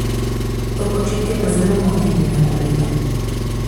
To početje pa zelo moti njene kolege.